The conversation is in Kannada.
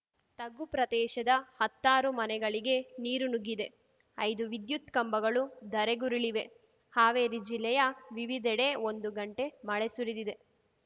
ತಗ್ಗು ಪ್ರದೇಶದ ಹತ್ತಾರು ಮನೆಗಳಿಗೆ ನೀರು ನುಗ್ಗಿದೆ ಐದು ವಿದ್ಯುತ್‌ ಕಂಬಗಳು ಧರೆಗುರುಳಿವೆ ಹಾವೇರಿ ಜಿಲ್ಲೆಯ ವಿವಿಧೆಡೆ ಒಂದು ಗಂಟೆ ಮಳೆ ಸುರಿದಿದೆ